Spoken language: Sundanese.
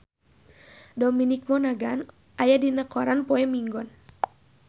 Dominic Monaghan aya dina koran poe Minggon